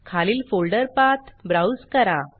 खालील folder path browse करा